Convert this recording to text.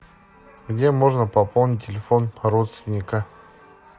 где можно пополнить телефон родственника